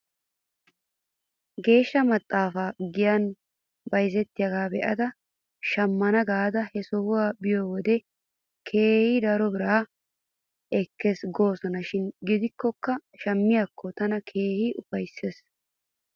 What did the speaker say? Geeshsha maxaafay giyan bayzettiyaagaa be'ada shammana gaada he sohuwaa biyoo wode keehi daro bira ekkes goosona shin gidikkoka shamiyaakko tana keehi ufaysses